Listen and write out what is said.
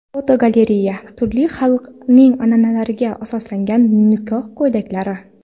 Fotogalereya: Turli xalqlarning an’analariga asoslangan nikoh ko‘ylaklari.